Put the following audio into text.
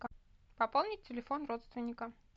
пополнить телефон родственника